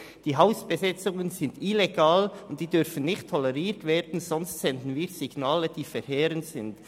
Die Hausbesetzungen sind illegal und dürfen nicht toleriert werden, sonst senden wir Signale aus, die verheerend sind.